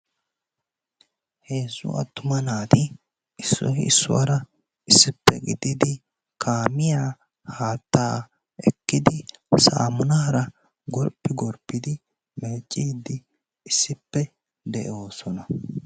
Heezzu attuma naati issoy issuwara issippe gididi kaamiya haattaa ekkidi sammunaara gorppi gorppidi issippe meecciidi de'oosona.